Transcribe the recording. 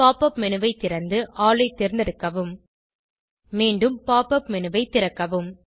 pop up menu ஐ திறந்து all ஐ தேர்ந்தெடுக்கவும் மீண்டும் pop up மேனு ஐ திறக்கவும்